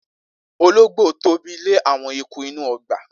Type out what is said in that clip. Ologbo Tobi le awon eku inu ogba.